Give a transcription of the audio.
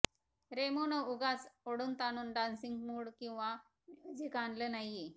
रेमोनं उगाच ओढूनताणून dancing mood किंवा म्युझिक आणलं नाहीये